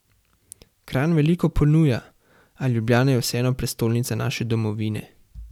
Kranj veliko ponuja, a Ljubljana je vseeno prestolnica naše domovine.